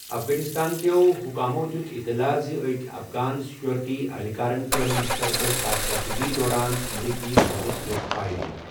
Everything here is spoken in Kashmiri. افغٲنستان كیو حکامو دِیُت اطلاع زِ أکۍ افغان سیکیورٹی اہلکارَن کٔر مشترقہٕ كاركردگی دوران امریکی فوجس پٮ۪ٹھ فایرنگ۔